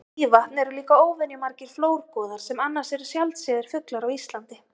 Við Mývatn eru líka óvenju margir flórgoðar sem annars eru sjaldséðir fuglar á Íslandi.